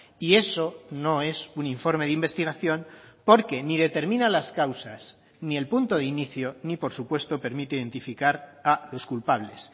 y eso no es un informe de investigación porque ni determina las causas ni el punto de inicio ni por supuesto permite identificar a los culpables